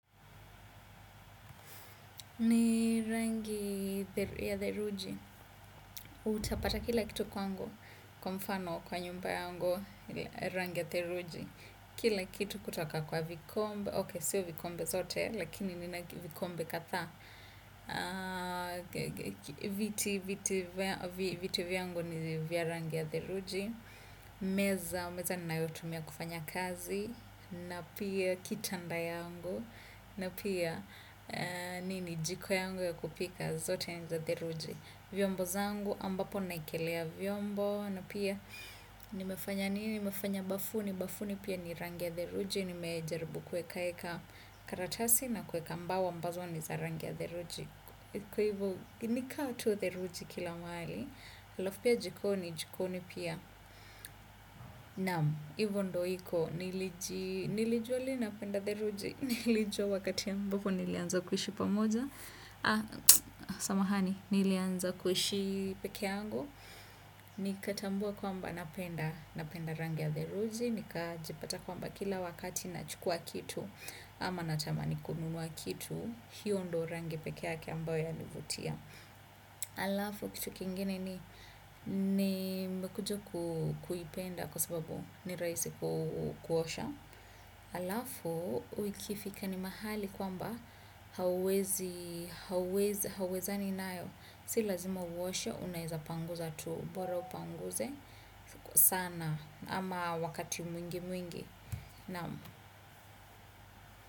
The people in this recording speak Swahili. Ni rangi ya theluji, utapata kila kitu kwangu, kwa mfano kwa nyumba yangu, rangi ya theluji, kila kitu kutoka kwa vikombe, ok, sio vikombe zote, lakini nina vikombe kadha, viti vyangu ni vya rangi ya theluji, meza, meza ninayotumia kufanya kazi, na pia kitanda yangu, na pia nini jiko yangu ya kupika zote ni za theluji. Vyombo zangu ambapo naekelea vyombo. Na pia nimefanya nini, nimefanya bafuni, bafuni pia ni rangi ya theluji. Nimejaribu kueka eka karatasi na kueka mbao ambazo ni za rangi ya theluji. Kwa hivyo ni kaa tu theluji kila mahali alafu pia jikoni, jikoni pia. Naam, hivyo ndio iko nilijua lini napenda theluji nilijua wakati ambapo nilianza kuishi pamoja, samahani nilianza kuishi peke yangu nikatambua kwamba napenda rangi ya theluji nikajipata kwamba kila wakati nachukua kitu ama natamani kununua kitu hiyo ndio rangi peke yake ambayo yanivutia alafu kitu kingine ni nimekuja kuipenda kwa sababu ni rahisi kuosha. Alafu ikifika ni mahali kwamba hauwezi hauwezani nayo si lazima uoshe unaezapanguza tu bora upanguse sana ama wakati mwingi mwingi.